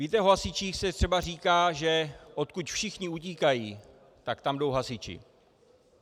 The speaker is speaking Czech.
Víte, o hasičích se třeba říká, že odkud všichni utíkají, tak tam jdou hasiči.